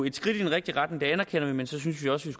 et skridt i den rigtige retning det anerkender vi men så synes vi også